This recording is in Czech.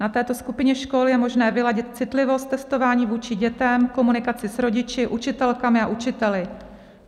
Na této skupině škol je možné vyladit citlivost testování vůči dětem, komunikaci s rodiči, učitelkami a učiteli.